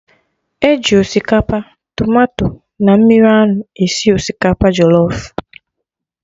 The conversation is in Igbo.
E ji osikapa, tomato na mmiri anụ esi osikapa jọlọf